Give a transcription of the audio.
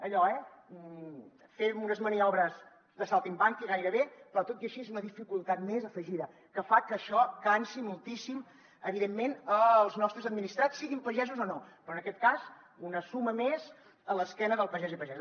allò eh fem unes maniobres de saltimbanqui gairebé però tot i així és una dificultat més afegida que fa que això cansi moltíssim evidentment els nostres administrats siguin pagesos o no però en aquest cas una suma més a l’esquena del pagès i pagesa